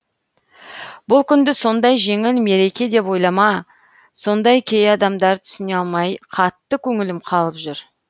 бұл күнді сондай жеңіл мереке деп ойлайма сонда кей адамдар түсіне алмай қатты көңілім қалып жүр